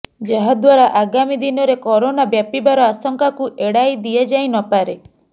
ଯାହା ଦ୍ୱାରା ଆଗାମୀ ଦିନରେ କରୋନା ବ୍ୟାପିବାର ଆଶଙ୍କାକୁ ଏଡାଇ ଦିଆଯାଇ ନପାରେ